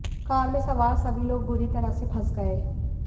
car में सवार सभी लोग बुरी तरह से फंस गए